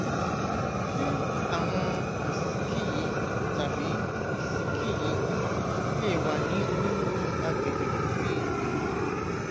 láàárín àkókò yẹn àti aago márùnún ààbọ mo jẹ ààbọ mo jẹ tums mẹjọ